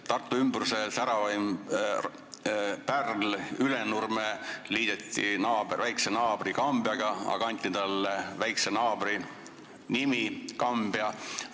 Tartu ümbruse säravaim pärl Ülenurme liideti väikse naabri Kambjaga ja anti talle ka väikse naabri nimi Kambja.